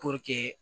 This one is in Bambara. Puruke